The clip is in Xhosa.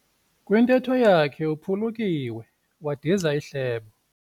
Kwintetho yakhe uphulukiwe wadiza ihlebo.